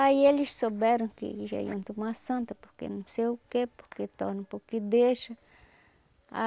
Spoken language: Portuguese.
Aí eles souberam que já iam tomar a Santa, porque não sei o quê, porque torna porque deixa.